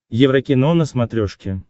еврокино на смотрешке